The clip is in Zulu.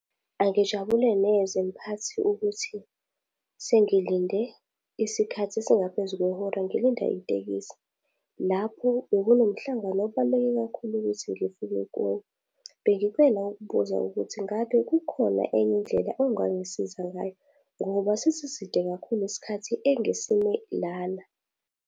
Angijabule neze mphathi ukuthi sengilinde isikhathi esingaphezu kwehora, ngilinda itekisi. Lapho bekunomhlangano obaluleke kakhulu ukuthi ngifike kuwona. Bengicela ukubuza ukuthi ngabe kukhona enye indlela ongangisiza ngayo? Ngoba sesiside kakhulu isikhathi engisime lana.